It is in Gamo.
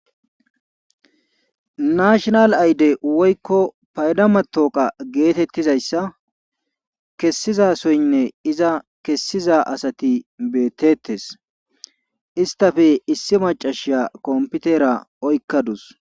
nashonal ayde woykko paydama tooqa geetettizayssa kessizasoynne iza kessiza asati beetettes istafe issi macashiya kompitera oykkadus